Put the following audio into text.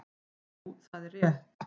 Jú það er rétt.